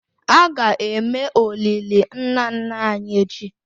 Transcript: A ga-eme olili nna nna anyị echi?